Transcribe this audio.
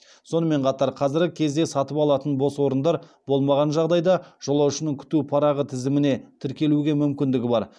сонымен қатар қазіргі кезде сатып алатын бос орындар болмаған жағдайда жолаушының күту парағы тізіміне тіркелуге мүмкіндігі бар